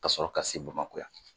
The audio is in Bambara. Kasɔrɔ ka se Bamakɔ yan